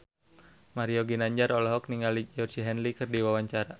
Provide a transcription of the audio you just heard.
Mario Ginanjar olohok ningali Georgie Henley keur diwawancara